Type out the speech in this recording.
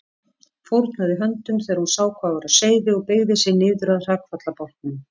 Fórnaði höndum þegar hún sá hvað var á seyði og beygði sig niður að hrakfallabálknum.